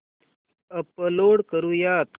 upload करुयात